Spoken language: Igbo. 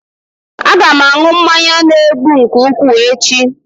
Aga m aṅụ mmanya na-egbu nke ukwuu echi